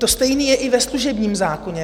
To stejné je i ve služebním zákoně.